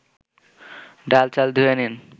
ডাল-চাল ধুয়ে নিন